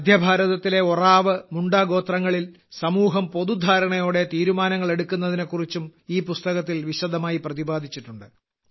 മധ്യഭാരതത്തിലെ ഒറാവ് മുണ്ട ഗോത്രങ്ങളിൽ സമൂഹം പൊതുധാരണയോടെ തീരുമാനങ്ങൾ എടുക്കുന്നതിനെക്കുറിച്ചും ഈ പുസ്തകത്തിൽ വിശദമായി പ്രതിപാദിച്ചിട്ടുണ്ട്